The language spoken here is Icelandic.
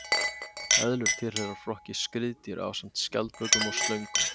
Eðlur tilheyra flokki skriðdýra ásamt skjaldbökum og slöngum.